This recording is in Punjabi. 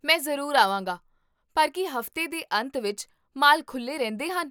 ਮੈਂ ਜ਼ਰੂਰ ਆਵਾਂਗਾ, ਪਰ ਕੀ ਹਫ਼ਤੇ ਦੇ ਅੰਤ ਵਿੱਚ ਮਾਲ ਖੁੱਲ੍ਹੇ ਰਹਿੰਦੇ ਹਨ?